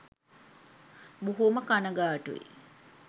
බොහෝම කනගාටුයි